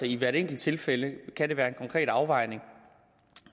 i hvert enkelt tilfælde være en konkret afvejning